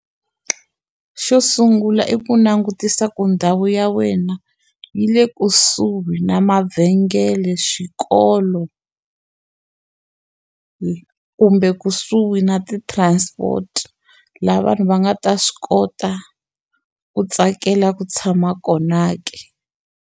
Xo sungula i ku langutisa ku ndhawu ya wena yi le kusuhi na mavhengele swikolo ku kumbe kusuhi na ti transport laha vanhu va nga ta swi kota ku tsakela ku tshama kona ke.